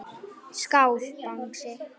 Skál Bangsi.